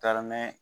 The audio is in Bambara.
Taa mɛn